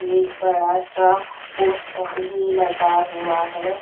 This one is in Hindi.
एक बड़ा सा पोस्टर भी लगा हुआ है।